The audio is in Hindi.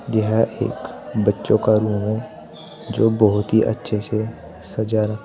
यह एक बच्चों का रूम है जो बहुत ही अच्छे से सजा रखा--